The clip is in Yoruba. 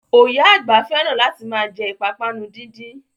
Oya àgbà fẹ́ràn láti ma jẹ́ ìpápánu díndín